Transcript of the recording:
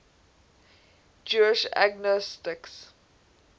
jewish agnostics